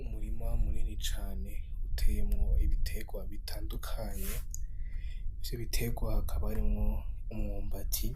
Umurima munini cane uteyemwo ibitegwa bitandukanye ivyo bitegwa hakaba harimwo umwumbati